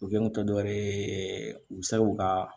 U kɛ n kun tɛ dɔwɛrɛ ye u bɛ se k'u ka